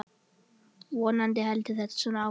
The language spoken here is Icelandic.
Vonandi heldur þetta svona áfram.